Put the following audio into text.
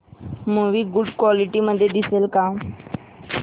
movie good quality मध्ये दिसेल का